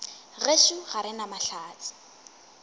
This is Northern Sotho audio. gešo ga re na mahlatse